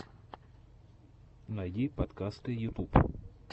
найди подкасты ютуб